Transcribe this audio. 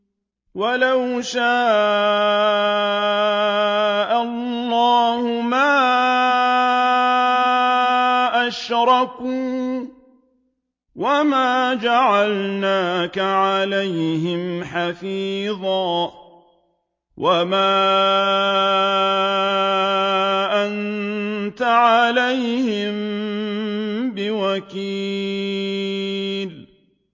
وَلَوْ شَاءَ اللَّهُ مَا أَشْرَكُوا ۗ وَمَا جَعَلْنَاكَ عَلَيْهِمْ حَفِيظًا ۖ وَمَا أَنتَ عَلَيْهِم بِوَكِيلٍ